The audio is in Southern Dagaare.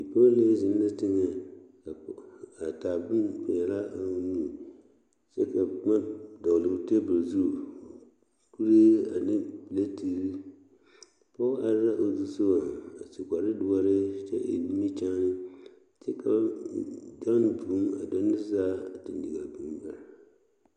Pɔge la zeŋ boŋ pelaa zu a de daare a kpare ne k,o tagra kyɛ ka lɔɔpelaa meŋ are a soriŋ ka bonzeɛ toɔ kyɛ ka kuruu be o lambori seŋ ka kuruu kaŋ meŋ gaŋ a sori sensogleŋ waa wogi lɛ.